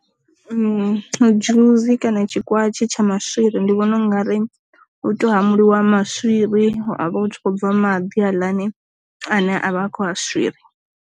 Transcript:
Dzhuzi kana tshi kwatshi tsha maswiri ndi vhona ungari u to hamuliwa maswiri a vha u tshi khou bva maḓi aḽani ane avha a kho a swiri.